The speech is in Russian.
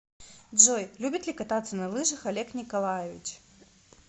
джой любит ли кататься на лыжах олег николаевич